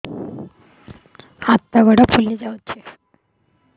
ହାତ ଗୋଡ଼ ଫୁଲି ଯାଉଛି